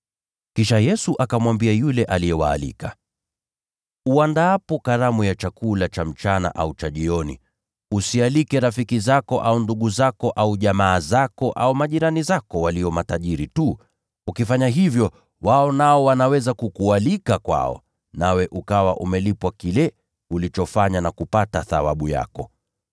Kisha Yesu akamwambia yule aliyewaalika, “Uandaapo karamu ya chakula cha mchana au cha jioni, usialike rafiki zako au ndugu zako au jamaa zako au majirani zako walio matajiri tu. Ukifanya hivyo, wao nao wanaweza kukualika kwao, nawe ukawa umelipwa kile ulichofanya na kupata thawabu yako.